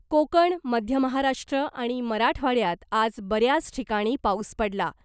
कोकण , मध्य महाराष्ट्र आणि मराठवाड्यात आज बऱ्याच ठिकाणी पाऊस पडला .